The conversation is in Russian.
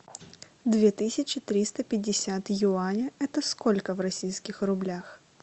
две тысячи триста пятьдесят юаня это сколько в российских рублях